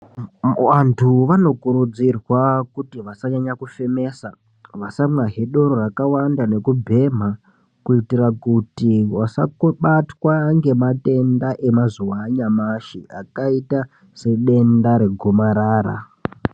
Muantu vanokurudzirwa kuti vasanyanya kufemesa vasamwazve doro rakanyanya kuwanda nekubhema kuitira kuti vasakobatwa ngematenda emazuwa anyamushi akaita sedenda segomarara.